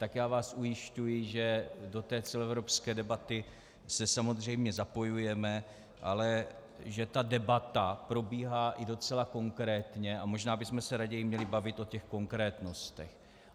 Tak já vás ujišťuji, že do té celoevropské debaty se samozřejmě zapojujeme, ale že ta debata probíhá i docela konkrétně, a možná bychom se raději měli bavit o těch konkrétnostech.